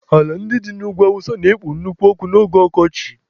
Ala ndị dị n'ugwu awụsa na-ekpo nnukwu ọkụ n'oge ọkọchị.